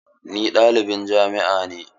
Ni ɗalibin jami'a ne.